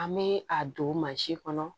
An bɛ a don mansin kɔnɔ